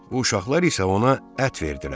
Bu uşaqlar isə ona ət verdilər.